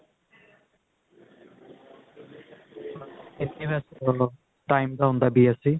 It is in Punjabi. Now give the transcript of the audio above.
time ਦਾ ਹੁੰਦਾ BSC